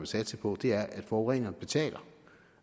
satse på er at forureneren betaler